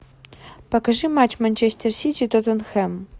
покажи матч манчестер сити тоттенхэм